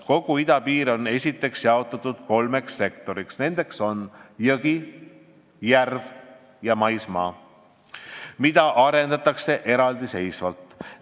Kogu idapiir on esiteks jaotatud kolmeks sektoriks , mida arendatakse eraldiseisvalt.